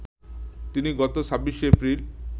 তিনি গত ২৪শে এপ্রিল